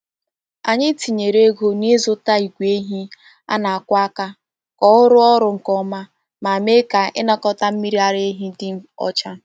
Anyị tinyere ego n’ịzụta igwe ehi a na-akwọ aka ka ọ rụọ ọrụ nke ọma ma mee ka ịnakọta mmiri ara ehi dị ọcha.